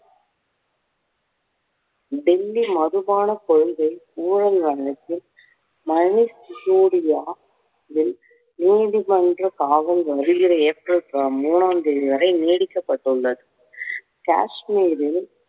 டெல்லி மதுபான கொள்கை ஊழல் வழக்கில் மனோஜ் சிசோடியாவை நீதிமன்ற காவல் வருகிற ஏப்ரல் மூனாம் தேதி வரை நீடிக்கப்பட்டுள்ளது. காஷ்மீரில்